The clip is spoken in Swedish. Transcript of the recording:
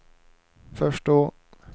förstå